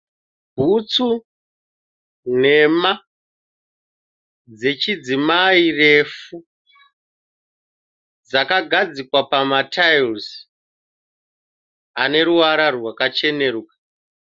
Bhutsu nhema dzechidzimai refu, dzakagadzikwa pamatira ane ruvara rwakacheneruka.